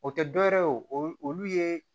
O tɛ dɔwɛrɛ ye o olu ye